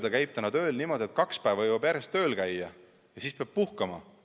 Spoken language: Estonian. Ta käib tööl niimoodi, et kaks päeva jõuab järjest tööl käia ja siis peab puhkama.